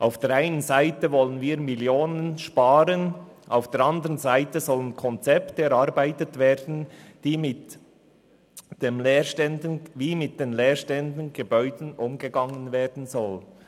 Auf der einen Seite wollen wir Millionen sparen, auf der anderen Seite sollen Konzepte erarbeitet werden, wie mit den leerstehenden Gebäuden umgegangen werden soll.